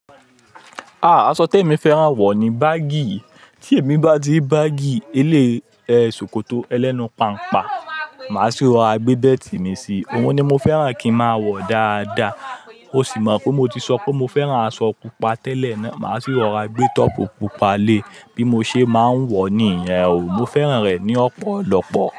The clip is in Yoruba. Aṣọ tí èmi fẹ́ran wọ̀ ní báàgì. Tí èmi bá ti ri báàgì, ilé e ṣòkòtò ẹlẹ́nu pàńpa, màá sì rọra gbé bẹ́ẹ̀tì mi sí i. Ohun ni mo fẹ́ran kí n máa wọ̀ dáadáa. O sì mọ̀ pé mo ti sọ pé mo fẹ́ran aṣọ pupa tẹ́lẹ̀. Máa sì rọ gbé tọ́pú pupa le bí mo ṣe máa ń wọ̀ nìyen o. Mo fẹ́ran rẹ̀ ní ọ̀pọ̀lọpọ̀